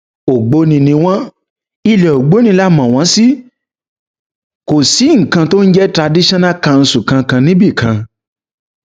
ògbóni ni wọn ilẹ ògbóni là mọ wọn sí kò sí nǹkan tó ń jẹ traditional council kankan níbì kan